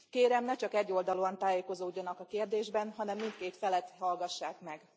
Kérem, ne csak egyoldalúan tájékozódjanak a kérdésben, hanem mindkét felet hallgassák meg!